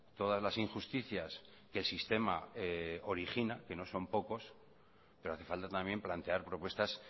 todas las injusticias que el sistema origina que no son pocos pero hace falta también plantear propuestas